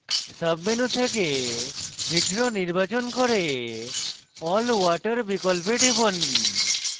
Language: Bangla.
সাব menu থেকে hetero নির্বাচন করে all water বিকল্পে টিপুন